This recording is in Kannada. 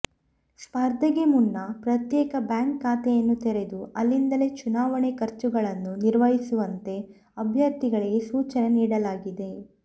ಸ್ಪರ್ಧೆಗೆ ಮುನ್ನ ಪ್ರತ್ಯೇಕ ಬ್ಯಾಂಕ್ ಖಾತೆಯನ್ನು ತೆರೆದು ಅಲ್ಲಿಂದಲೇ ಚುನಾವಣೆಯ ಖರ್ಚುಗಳನ್ನು ನಿರ್ವಹಿಸುವಂತೆ ಅಭ್ಯರ್ಥಿಗಳಿಗೆ ಸೂಚನೆ ನೀಡಲಾಗಿದೆ